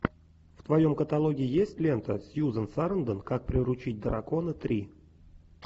в твоем каталоге есть лента сьюзен сарандон как приручить дракона три